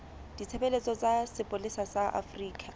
ditshebeletso tsa sepolesa sa afrika